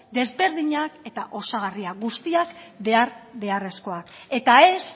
desberdinak eta osagarriak guztiak behar beharrezkoak eta ez